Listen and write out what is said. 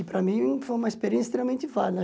E para mim foi uma experiência extremamente válida.